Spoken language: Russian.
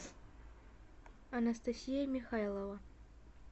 анастасия михайлова